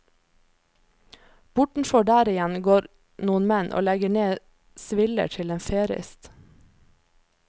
Bortenfor der igjen går noen menn og legger ned sviller til en ferist.